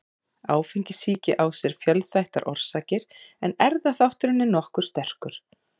Áfengissýki á sér fjölþættar orsakir en erfðaþátturinn er nokkuð sterkur.